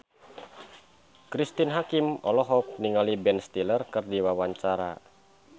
Cristine Hakim olohok ningali Ben Stiller keur diwawancara